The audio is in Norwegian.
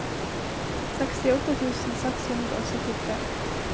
sekstiåtte tusen seks hundre og syttitre